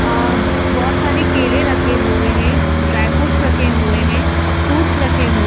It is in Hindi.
अ बहुत सारे केले रखे हुए हैं ड्राई फ्रूट्स रखे हुए हैं फ्रूट्स रखे हुए --